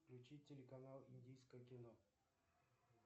включить телеканал индийское кино